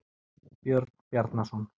Björn Bjarnason.